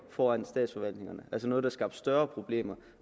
foran statsforvaltningerne altså noget der skabte større problemer